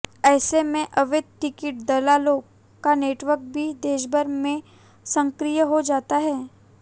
ऐसे में अवैध टिकट दलालों का नेटवर्क भी देशभर में सक्रिय हो जाता है